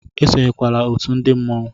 Esonyekwala otú ndi mmọnwu!